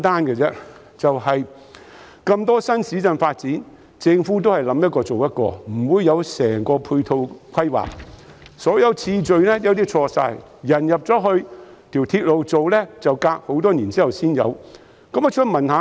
政府發展新市鎮時，往往是"諗一個、做一個"，沒有完整的配套規劃，設施興建次序有時全錯，例如鐵路在市民遷入數年後才建成。